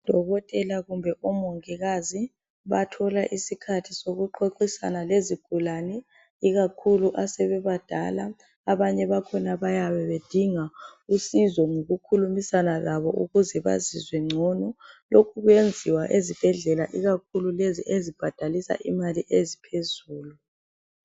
Udokotela kumbe omongikazi bathola isikhathi sokuxoxisana lezigulane ikakhulu asebebadala abanye bakhona bayabe bedinga usizo ngokukhulumisana labo ukuze bazizwe ngcono lokhu kwenziwa ezibhedlela ikakhulu lezi ezibhadalisa imali eziphezulu